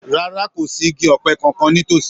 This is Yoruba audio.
Rárá. Kò sí igi ọ̀pẹ kankan nítòsí.